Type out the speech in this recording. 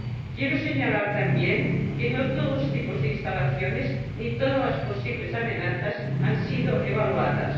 Quiero señalar también que no todos los tipos de instalaciones ni todas las posibles amenazas han sido evaluadas.